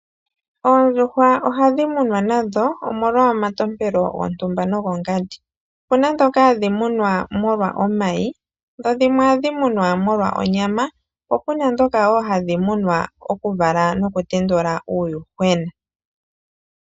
Oondjuhwa ohadhi munwa nadho omolwa omatompelo gontumba nogongandi, opuna dhoka hadhi munwa molwa omayi, dho dhimwe ohadhi munwa molwa onyama po puna dhoka hadhi munwa molwa okuvala omayi noku tendula uuyuhwena.